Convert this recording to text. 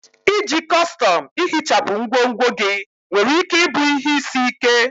Iji kọstọm ihichapụ ngwongwo gị nwere ike ịbụ ihe isi ike.